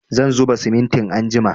Zan zuba simintin anjima